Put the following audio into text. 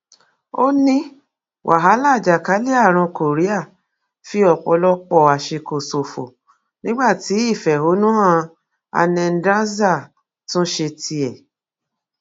ó ní wàhálà àjàkálẹ àrùn korea fi ọpọlọpọ àsìkò ṣòfò nígbà tí ìfẹhónú hanendsars tún ṣe tiẹ